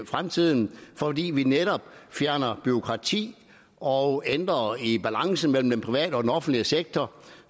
fremtiden fordi vi netop fjerner bureaukrati og ændrer i balancen mellem den private og den offentlige sektor